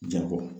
Jango